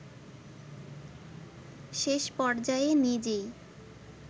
শেষপর্যায়ে নিজেই